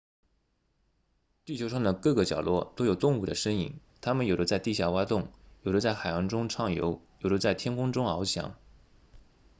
地球上的各个角落都有动物的身影它们有的在地下挖洞有的在海洋中畅游有的在天空中翱翔